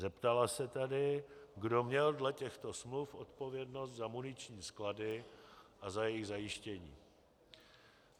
Zeptala se tedy, kdo měl dle těchto smluv odpovědnost za muniční sklady a za jejich zajištění.